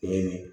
Kelen